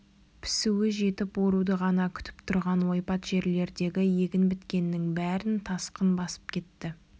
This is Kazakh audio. пісуі жетіп оруды ғана күтіп тұрған ойпат жерлердегі егін біткеннің бәрін тасқын басып кетті